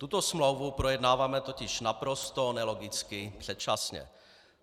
Tuto smlouvu projednáváme totiž naprosto nelogicky předčasně.